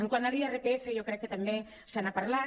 quant a l’irpf jo crec que també se n’ha parlat